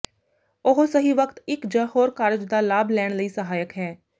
ਉਹ ਸਹੀ ਵਕਤ ਇੱਕ ਜ ਹੋਰ ਕਾਰਜ ਦਾ ਲਾਭ ਲੈਣ ਲਈ ਸਹਾਇਕ ਹੈ